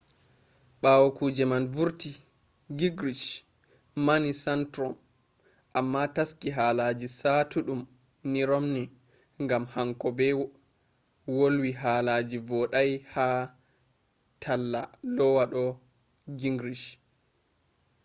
bawo kuje man vurti gingrich mani santorum amma taski halaji saatuddum ni romney gam hanko be volwi halaji vodai ha talla lowa do gingrich